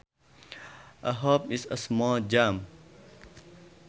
A hop is a small jump